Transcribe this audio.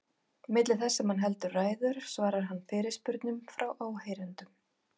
Milli þess sem hann heldur ræður svarar hann fyrirspurnum frá áheyrendum.